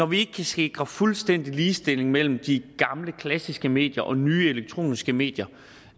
vi ikke kan sikre fuldstændig ligestilling mellem de gamle klassiske medier og de nye elektroniske medier